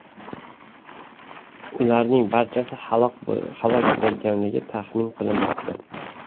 Ularning barchasi halok bo‘lganligi taxmin qilinmoqda.